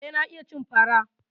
Eh, na iya cin fara.